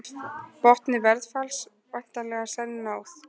Botni verðfalls væntanlega senn náð